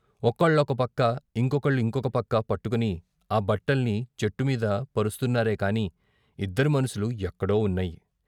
ఒకళ్ళొకపక్క ఇంకొకళ్ళు ఇంకొక పక్క పట్టుకుని ఆ బట్టల్ని చెట్టు మీద పరుస్తున్నారే కాని ఇద్దరి మనసులూ ఎక్కడో వున్నాయి.